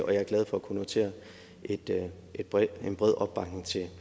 og jeg er glad for at kunne notere en bred en bred opbakning til